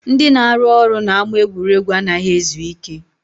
Ndị na-arụ ọrụ n'ama egwuregwu anaghị ezu ike